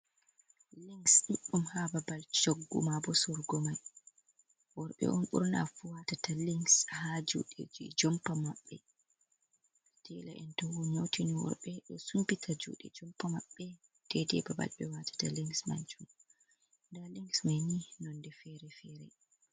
Links ɗuddum ha babal choggu ma bo sorgumai. Worbe on burna fu watata links ha juude jumpa maɓbe. teelaen to nyautini worbe do sumpita juude jompa maɓbe ɗedai babal be watata links maajun nɗa links mai ni nonɗe fere fere.